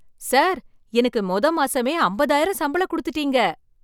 Sir, எனக்கு மொத மாசமே அம்பதாயிரம் சம்பளம் குடுத்துட்டீங்க.